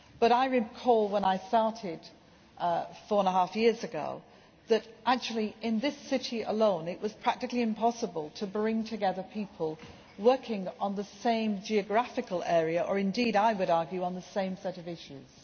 I recall that when I started four and a half years ago, that actually, in this city alone, it was practically impossible to bring together people working on the same geographical area or indeed, I would argue, on the same set of issues.